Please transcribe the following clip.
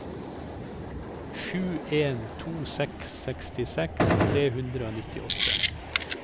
sju en to seks sekstiseks tre hundre og nittiåtte